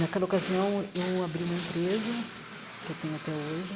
Naquela ocasião, eu abri uma empresa, que eu tenho até hoje.